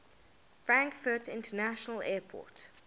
frankfurt international airport